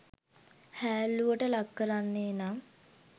හෑල්ලුවට ලක් කරන්නේ නම්